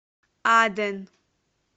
аден